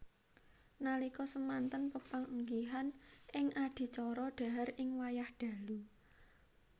Nalika semanten pepanggihan ing adicara dhahar ing wayah dalu